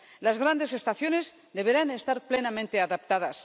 Las grandes estaciones deberán estar plenamente adaptadas.